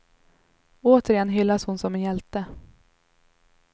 Återigen hyllas hon som en hjälte.